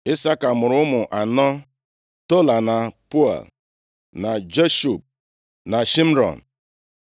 Isaka mụrụ ụmụ anọ: Tola, na Pua, na Jashub, na Shịmrọn.